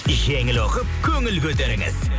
жеңіл оқып көңіл көтеріңіз